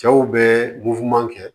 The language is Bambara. Cɛw bɛ kɛ